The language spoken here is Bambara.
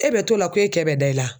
E bɛ t'o la ko e kɛ bɛ da i la